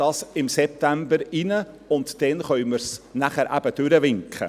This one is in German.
Wir behandeln es im September, und dann können wir es durchwinken.